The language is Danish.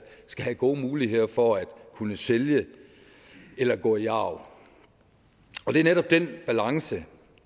skal have gode muligheder for at kunne sælge eller gå i arv og det er netop den balance